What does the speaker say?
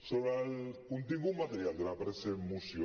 sobre el contingut material de la present moció